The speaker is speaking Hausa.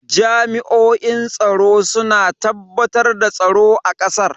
Jami'oin tsaro suna tabbatar da tsaro a kasar.